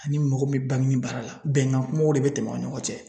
Ani mɔgɔ bɛ baara la bɛnkan kumaw de bɛ tɛmɛ aw ni ɲɔgɔn cɛ